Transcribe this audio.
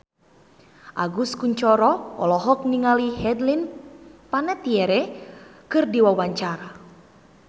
Agus Kuncoro olohok ningali Hayden Panettiere keur diwawancara